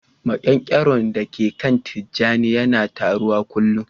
Maƙyankyaro da ke kan tijani yana taruwa kullun